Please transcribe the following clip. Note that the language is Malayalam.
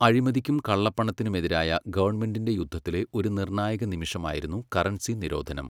അഴിമതിക്കും കള്ളപ്പണത്തിനുമെതിരായ ഗവണ്മെന്റിന്റെ യുദ്ധത്തിലെ ഒരു നിർണായക നിമിഷമായിരുന്നു കറൻസി നിരോധനം.